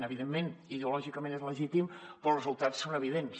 evidentment ideològicament és legítim però els resultats són evidents